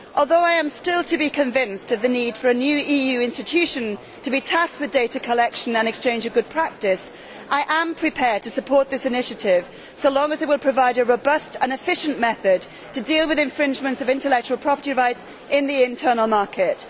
Although I am still to be convinced of the need for a new EU institution to be tasked with data collection and exchange of good practice, I am prepared to support this initiative so long as it will provide a robust and efficient method to deal with infringements of intellectual property rights in the internal market.